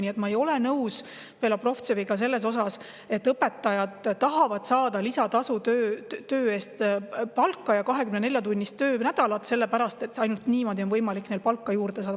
Nii et ma ei ole nõus Belobrovtseviga, et õpetajad tahavad lisatööd ja 24-tunnist töönädalat, sellepärast et ainult niimoodi on võimalik neil palka juurde saada.